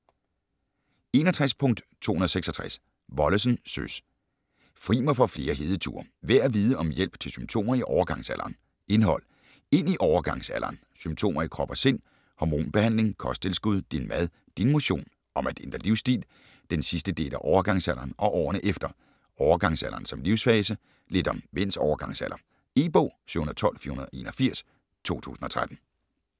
61.266 Wollesen, Søs: Fri mig for flere hedeture: værd at vide om hjælp til symptomer i overgangsalderen Indhold: Ind i overgangsalderen, Symptomer i krop og sind, Hormonbehandling, Kosttilskud, Din mad, Din motion, Om at ændre livsstil, Den sidste del af overgangsalderen og årene efter, Overgangsalderen som livssfase, Lidt om mænds overgangsalder. E-bog 712481 2013.